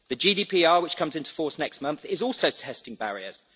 The GDPR which comes into force next month is also testing barriers.